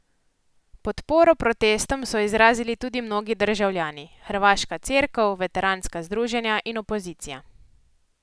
Podporo protestom so izrazili tudi mnogi državljani, hrvaška Cerkev, veteranska združenja in opozicija.